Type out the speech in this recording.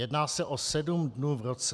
Jedná se o sedm dnů v roce.